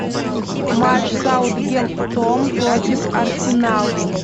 матч саутгемптон против арсенал